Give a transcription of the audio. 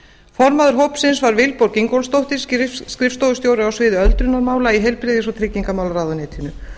formaður hópsins var vilborg ingólfsdóttir skrifstofustjóri á sviði öldrunarmála í heilbrigðis og tryggingamálaráðuneytinu